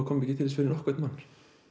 komi ekki til þess fyrir nokkurn mann